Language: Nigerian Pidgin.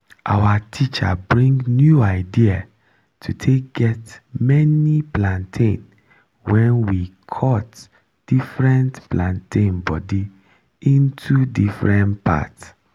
our teacher bring new idea to take get many plantain when we cut different plantain body into different part